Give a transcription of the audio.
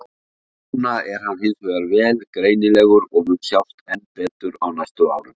Núna er hann hins vegar vel greinilegur og mun sjást enn betur á næstu árum.